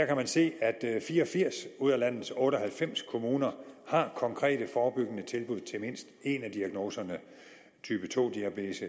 kan man se at fire og firs ud af landets otte og halvfems kommuner har konkrete forebyggende tilbud til mindst en af diagnoserne type to diabetes